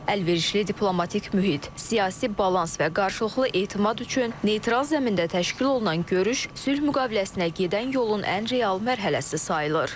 Əlverişli diplomatik mühit, siyasi balans və qarşılıqlı etimad üçün neytral zəmində təşkil olunan görüş sülh müqaviləsinə gedən yolun ən real mərhələsi sayılır.